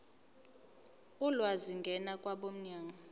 ulwazi ngena kwabomnyango